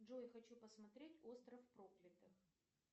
джой хочу посмотреть остров проклятых